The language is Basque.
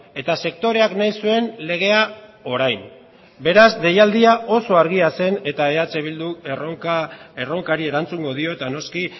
eta sektoreak nahi zuen legea orain beraz deialdia oso argia zen eta eh bilduk erronkari erantzungo dio eta noski